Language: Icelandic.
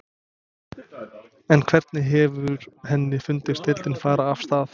En hvernig hefur henni fundist deildin fara af stað?